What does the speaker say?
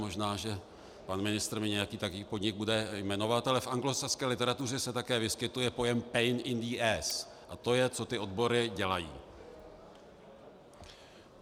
Možná, že pan ministr mi nějaký takový podnik bude jmenovat, ale v anglosaské literatuře se také vyskytuje pojem pain in the ass a to je, co ty odbory dělají.